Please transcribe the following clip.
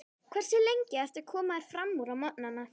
Hversu lengi ertu að koma þér framúr á morgnanna?